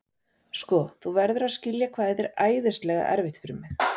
Sko, þú verður að skilja hvað þetta er æðislega erfitt fyrir mig.